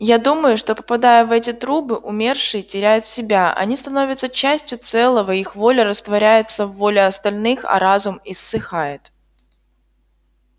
я думаю что попадая в эти трубы умершие теряют себя они становятся частью целого их воля растворяется в воле остальных а разум иссыхает